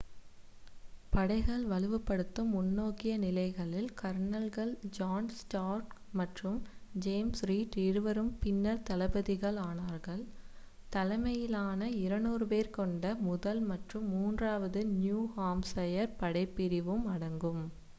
படைகள் வலுப்படுத்தும் முன்னோக்கிய நிலைகளில் கர்னல்கள் ஜான் ஸ்டார்க் மற்றும் ஜேம்ஸ் ரீட் இருவரும் பின்னர் தளபதிகள் ஆனார்கள் தலைமையிலான 200 பேர் கொண்ட முதல் 1 மற்றும் மூன்றாவது 3 நியூ ஹாம்சயர் படைப் பிரிவும் அடங்கும்